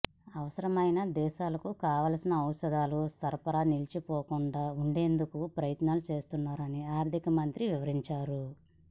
అవసరమైన దేశాలకు కావాల్సిన ఔషధాల సరఫరా నిలిచిపోకుండా ఉండేందుకు ప్రయత్నిస్తున్నామని ఆర్థిక మంత్రి వివరించారు